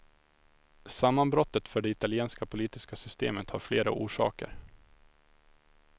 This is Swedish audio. Sammanbrottet för det italienska politiska systemet har flera orsaker.